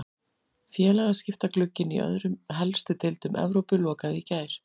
Félagaskiptaglugginn í öðrum helstu deildum Evrópu lokaði í gær.